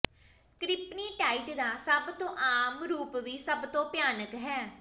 ਕਰਿਪਨੀਟਾਈਟ ਦਾ ਸਭ ਤੋਂ ਆਮ ਰੂਪ ਵੀ ਸਭ ਤੋਂ ਭਿਆਨਕ ਹੈ